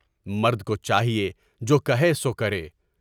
مرد کو چاہیے جو کہے سو کرے۔